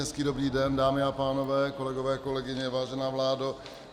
Hezký dobrý den, dámy a pánové, kolegyně, kolegové, vážená vládo.